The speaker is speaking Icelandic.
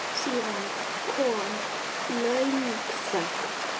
Við björgum þessu nú.